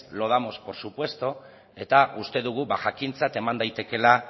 lo damos por supuesto eta uste dugu ba jakintzat eman daitekeela